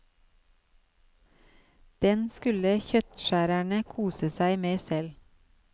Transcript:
Den skulle kjøttskjærerne kose seg med selv.